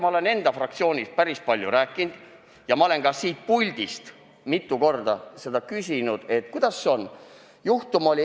Ma olen sellest enda fraktsioonis päris palju rääkinud ja olen ka siit puldist mitu korda küsinud, et kuidas sellega on.